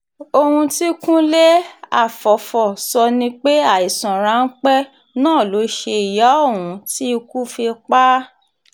ohun tí kúnlé afọ́fọ́ sọ ni pé àìsàn ráńpẹ́ náà ló ṣe ìyà ohun tí ikú fi pa á